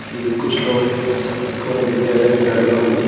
कि कुछ लोग ई कउनो विद्यालय के कार्यक्रम बा।